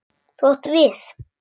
Þú átt við.